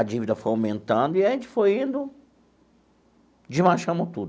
A dívida foi aumentando e a gente foi indo, desmanchamos tudo.